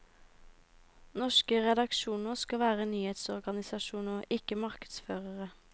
Norske redaksjoner skal være nyhetsorganisasjoner, ikke markedsførere.